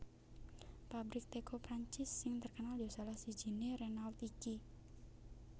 Pabrik teko Prancis sing terkenal yo salah sijine Renault iki